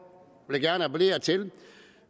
vil jeg gerne appellere til